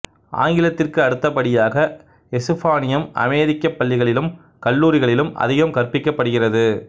ஆங்கிலத்திற்கு அடுத்தபடியாக எசுப்பானியம் அமெரிக்கப் பள்ளிகளிலும் கல்லூரிகளிலும் அதிகம் கற்பிக்கப்படுகிறது